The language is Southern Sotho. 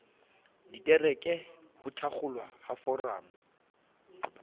ditereke ho thakgolwa ha foramo